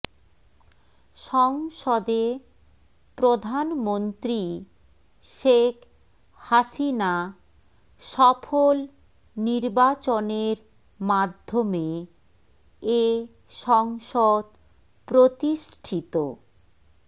সংসদে প্রধানমন্ত্রী শেখ হাসিনা সফল নির্বাচনের মাধ্যমে এ সংসদ প্রতিষ্ঠিত